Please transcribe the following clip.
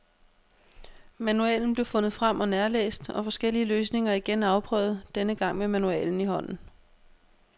Manualen blev fundet frem og nærlæst, og forskellige løsninger igen afprøvet, denne gang med manualen i hånden.